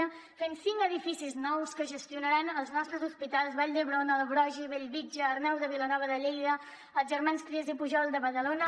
hem fet cinc edificis nous que gestionaran els nostres hospitals de vall d’hebron broggi bellvitge arnau de vilanova de lleida i els germans trias i pujol de badalona